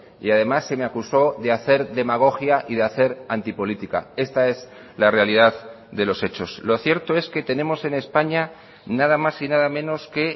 y además se me acusó de hacer demagogia y de hacer anti política esta es la realidad de los hechos lo cierto es que tenemos en españa nada más y nada menos que